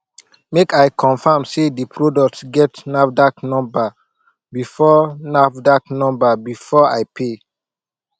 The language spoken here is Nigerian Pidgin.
make i confirm sey di product get nafdac number before nafdac number before i pay